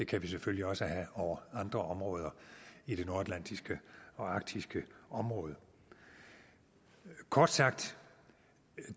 kan vi selvfølgelig også have over andre områder i det nordatlantiske og arktiske område kort sagt